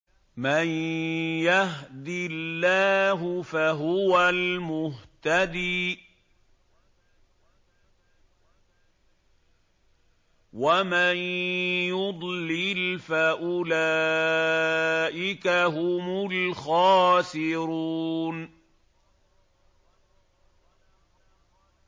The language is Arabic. مَن يَهْدِ اللَّهُ فَهُوَ الْمُهْتَدِي ۖ وَمَن يُضْلِلْ فَأُولَٰئِكَ هُمُ الْخَاسِرُونَ